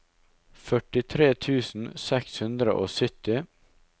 førtitre tusen seks hundre og sytti